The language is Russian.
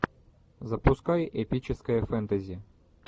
запускай эпическое фэнтези